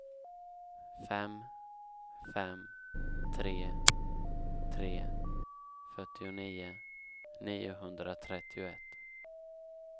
fem fem tre tre fyrtionio niohundratrettioett